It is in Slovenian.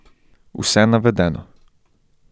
Vse navedeno.